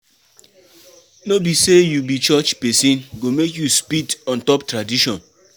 No be sey you be church pesin go make you spit on top tradition.